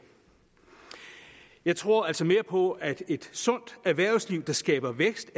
jeg tror altså mere på at et sundt erhvervsliv der skaber vækst